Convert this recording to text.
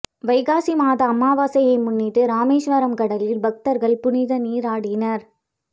வைகாசி மாத அமாவாசையை முன்னிட்டு ராமேஸ்வரம் கடலில் பக்தர்கள் புனித நீராடினர்